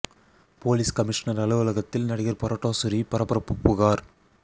police commissioner அலுவலகத்தில் நடிகர் பரோட்டா சூரி பரபரப்பு புகார்